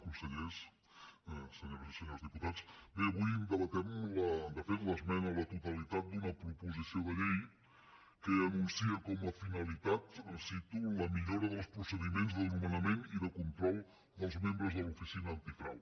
consellers senyores i senyors diputats bé avui debatem de fet l’esmena a la totalitat d’una proposició de llei que anuncia com a finalitat ho cito la millora dels procediments de nomenament i de control dels membres de l’oficina antifrau